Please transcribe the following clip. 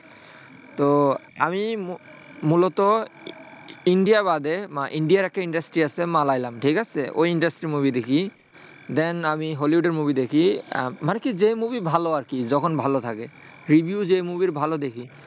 তো আমি মুলত ই ইন্ডিয়া বাদে বা ইন্ডিয়ার একটা industry আছে মালায়ালাম ঠিক আছে, ওই ইন্ডাস্ট্রির movie দেখি। then আমি হলিউডের মুভি দেখি। আহ মানে কি যে movie ভালো আরকি। যখন ভালো থাকে, review যে movie র ভালো দেখি।